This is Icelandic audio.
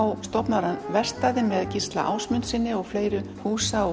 stofnar hann verkstæði með Gísla Ásmundssyni og fleiri húsa og